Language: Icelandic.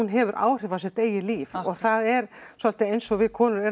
hefur áhrif á sitt eigið líf og það er svolítið eins og við konur